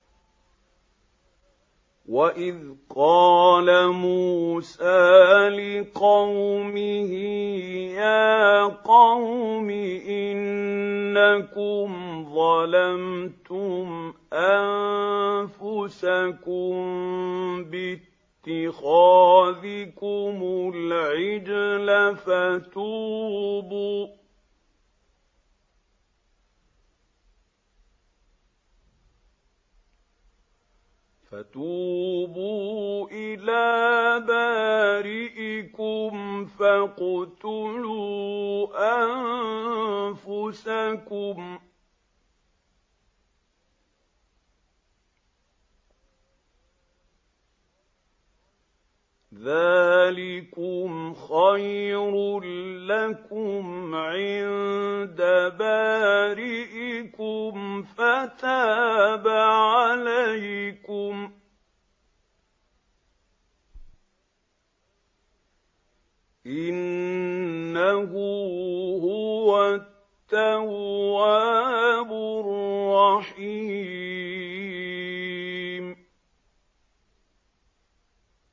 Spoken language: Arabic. وَإِذْ قَالَ مُوسَىٰ لِقَوْمِهِ يَا قَوْمِ إِنَّكُمْ ظَلَمْتُمْ أَنفُسَكُم بِاتِّخَاذِكُمُ الْعِجْلَ فَتُوبُوا إِلَىٰ بَارِئِكُمْ فَاقْتُلُوا أَنفُسَكُمْ ذَٰلِكُمْ خَيْرٌ لَّكُمْ عِندَ بَارِئِكُمْ فَتَابَ عَلَيْكُمْ ۚ إِنَّهُ هُوَ التَّوَّابُ الرَّحِيمُ